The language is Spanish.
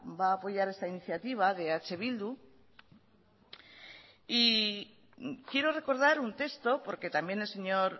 va a apoyar esta iniciativa de eh bildu y quiero recordar un texto porque también el señor